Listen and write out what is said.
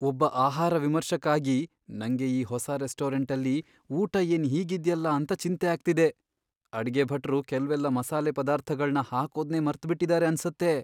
ಒಬ್ಬ ಆಹಾರ ವಿಮರ್ಶಕ ಆಗಿ, ನಂಗೆ ಈ ಹೊಸ ರೆಸ್ಟೋರೆಂಟಲ್ಲಿ ಊಟ ಏನ್ ಹೀಗಿದ್ಯಲ್ಲ ಅಂತ ಚಿಂತೆ ಆಗ್ತಿದೆ. ಅಡ್ಗೆ ಭಟ್ರು ಕೆಲ್ವೆಲ್ಲ ಮಸಾಲೆ ಪದಾರ್ಥಗಳ್ನ ಹಾಕೋದ್ನೇ ಮರ್ತ್ಬಿಟಿದಾರೆ ಅನ್ಸತ್ತೆ.